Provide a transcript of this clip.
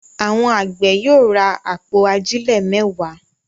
Àwọn àgbẹ̀ yóò ra àpò ajílẹ̀ mẹ́wàá.